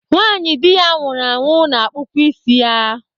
Nwanyị di ya nwụrụ anwụ na-akpụkwa isi ya.